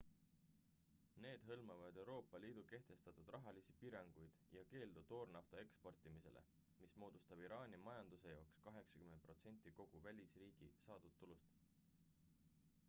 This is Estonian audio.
need hõlmavad euroopa liidu kehtestatud rahalisi piiranguid ja keeldu toornafta eksportimisele mis moodustab iraani majanduse jaoks 80% kogu välisriigist saadud tulust